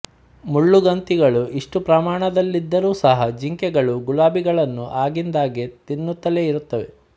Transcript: ಮುಳ್ಳುಗಂತಿಗಳು ಇಷ್ಟು ಪ್ರಮಾಣದಲ್ಲಿದ್ದರೂ ಸಹ ಜಿಂಕೆಗಳು ಗುಲಾಬಿಗಳನ್ನು ಆಗಿಂದಾಗ್ಗೆ ತಿನ್ನುತ್ತಲೇ ಇರುತ್ತವೆ